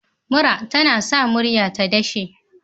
Mura tAna sa murya ta dashe